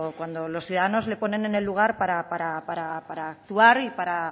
cuando los ciudadanos le ponen en el lugar para actuar y para